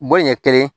Bɔ ɲɛ kelen